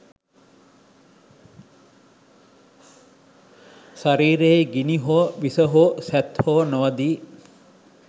ශරීරයෙහි ගිනි හෝ, විස හෝ, සැත් හෝ නොවදියි.